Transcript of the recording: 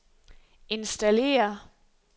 installere